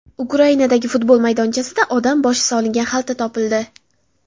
Ukrainadagi futbol maydonchasida odam boshi solingan xalta topildi.